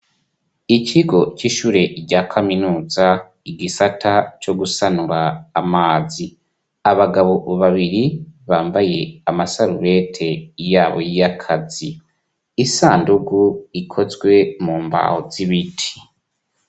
Ikigo c'ishure rya kaminuza igisata co gusanura amazi, abagabo babiri bambaye amasarubeti yabo y'akazi, isandugu ikozwe mu mbaho z'ibiti.